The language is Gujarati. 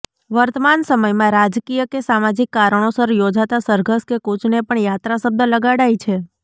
વર્તમાન સમયમાં રાજકિય કે સામાજીક કારણોસર યોજાતા સરઘર કે કૂચને પણ યાત્રા શબ્દ લગાડાય છે